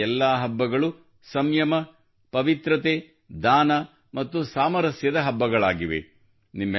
ಈ ಎಲ್ಲಾ ಹಬ್ಬಗಳು ಸಂಯಮ ಪವಿತ್ರತೆ ದಾನ ಮತ್ತು ಸಾಮರಸ್ಯದ ಹಬ್ಬಗಳಾಗಿವೆ